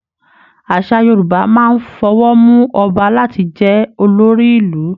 Àṣà Yorùbá máa n f'ọwó mú Ọba láti jẹ olórí Ìlú.